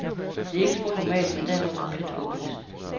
Det er ikke spor normalt, men derimod komplet håbløst.